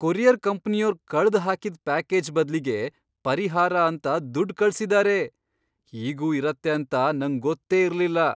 Courier ಕಂಪ್ನಿಯೋರ್ ಕಳ್ದ್ ಹಾಕಿದ್ ಪ್ಯಾಕೇಜ್ ಬದ್ಲಿಗೆ ಪರಿಹಾರ ಅಂತ ದುಡ್ಡ್ ಕಳ್ಸಿದಾರೆ! ಹೀಗೂ ಇರತ್ತೆ ಅಂತ ನಂಗ್ ಗೊತ್ತೇ ಇರ್ಲಿಲ್ಲ.